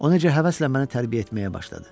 O necə həvəslə məni tərbiyə etməyə başladı.